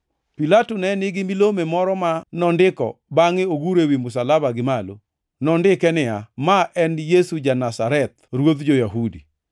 Pilato ne nigi milome moro ma nondiko bangʼe oguro ewi msalaba gimalo. Nondike niya: Ma en Yesu Ja-Nazareth, Ruodh Jo-Yahudi.